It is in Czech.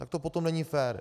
Tak to potom není fér.